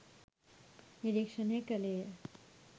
නිරීක්ෂණය කළේ ය.